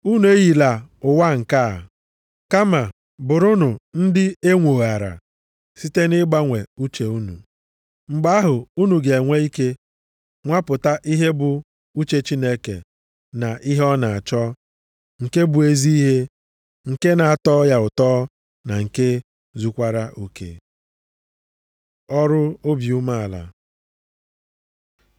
Unu eyila ụwa nke a, kama bụrụnụ ndị enwoghara site nʼịgbanwe uche unu. Mgbe ahụ, unu ga-enwe ike nwapụta ihe bụ uche Chineke na ihe ọ na-achọ, nke bụ ezi ihe, nke na-atọ ya ụtọ na nke zukwara oke. Ọrụ obi umeala